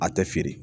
A tɛ feere